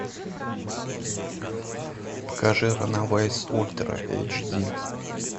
покажи ранэвэйс ультра эйч ди